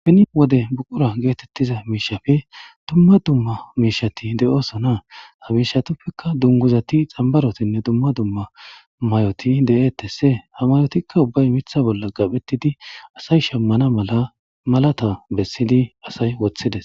Beni wode buqqura gettetiza mishshappe dumma dumma mishshati de'osona ha mishshatapeka dungguzati xambarotinne dumma dumma mayoti de'etese ha mayotikka ubba miththa bolla qaphetidiasay shamana mala malata bessidi asay wothides.